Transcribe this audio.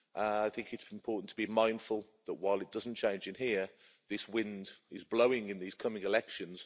I think it's important to be mindful that while it doesn't change in here, this wind is blowing in these coming elections.